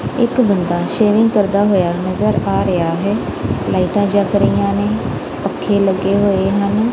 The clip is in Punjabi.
ਇੱਕ ਬੰਦਾ ਸ਼ੇਵਿੰਗ ਕਰਦਾ ਹੋਇਆ ਨਜ਼ਰ ਆ ਰਿਹਾ ਹੈ ਲਾਈਟਾਂ ਜੱਗ ਰਹੀਆਂ ਨੇਂ ਪੱਖੇ ਲੱਗੇ ਹੋਏ ਹਨ।